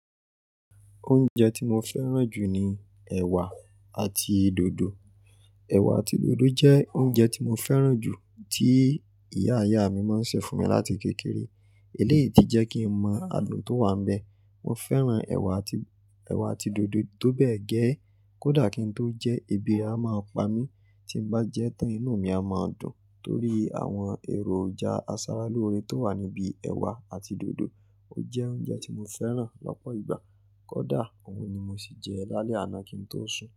Oúnjẹ tí mo fẹ́ràn jù ni ẹ̀wà àti dòdò. Ẹ̀wà àti dòdò jẹ́ oúnjẹ tí mo fẹ́ràn jù tí ìyá ìyá mi máa ń ṣe fún mi láti kékeré. Eléyìí tí jẹ́ kí n mọ àádùn tó wà níbẹ̀. Mo fẹ́ràn ẹ̀wà àti, ẹ̀wà àti dòdò tó bẹ́ẹ̀ gẹ́. Kódà kí n tó jẹ, ebi a máa pa mí, tí n bá jẹ́ tán inú mi a máa dùn torí àwọn èròjà aṣaralóore tó wà níbi ẹ̀wà àti dòdò. Ó jẹ́ oúnjẹ tí mo fẹ́ràn lọ́pọ̀ ìgbà. Kódà òun ni mo sì jẹ lálẹ́ àná kí n tó sùn.